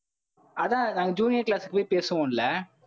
அதான் நாங்க junior class க்கு போய் பேசுவோம் இல்ல?